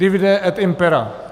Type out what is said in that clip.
Divide et impera.